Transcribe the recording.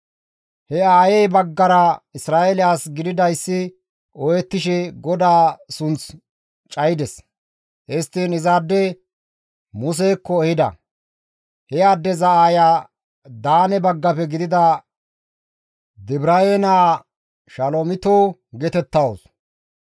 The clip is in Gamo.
He aayey baggara Isra7eele as gididayssi ooyettishe GODAA sunth cayides; histtiin izaade Musekko ehida; he addeza aaya Daane baggafe gidida Dibraye naa Shalomito geetettawus.